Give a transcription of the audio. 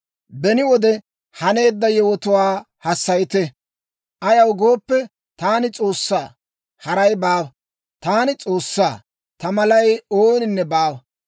Beni wode haneedda yewotuwaa hassayite. Ayaw gooppe, taani S'oossaa; haray baawa. Taani S'oossaa; ta malay ooninne baawa.